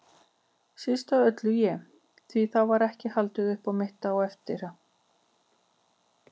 Síst af öllu ég, því það var ekki haldið upp á mitt eftir að